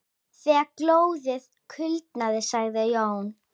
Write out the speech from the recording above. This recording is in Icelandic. Þegar glóðin kulnaði sagði Jón